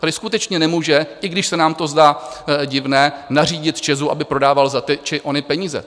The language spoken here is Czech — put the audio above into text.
Tady skutečně nemůže, i když se nám to zdá divné, nařídit ČEZu, aby prodával za ty či ony peníze.